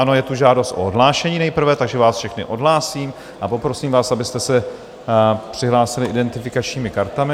Ano, je tu žádost o odhlášení nejprve, takže vás všechny odhlásím a poprosím vás, abyste se přihlásili identifikačními kartami.